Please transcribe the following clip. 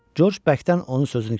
Corc bəkdən onu sözünü kəsdi.